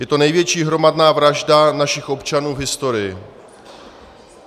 Je to největší hromadná vražda našich občanů v historii.